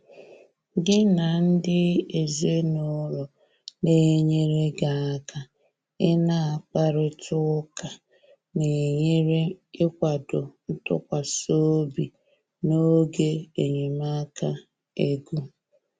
gị na ndị ezinụlọ na enyere gị aka ị na akparita ụka na enyere ikwado ntụkwasị obi n'oge enyemaka ego